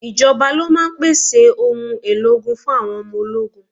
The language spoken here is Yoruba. Ìjọba ló máa ń pèsè òun èlò ogun fun àwọn ọmọ ológun.